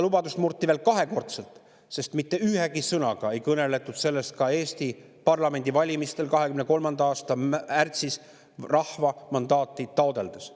Lubadust murti kahekordselt, sest mitte ühegi sõnaga ei kõneldud sellest ka Eesti parlamendivalimistel 2023. aasta märtsis rahva mandaati taotledes.